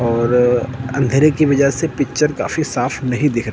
और अंधेरे की वजह से पिक्चर काफी साफ नहीं दिख रहा--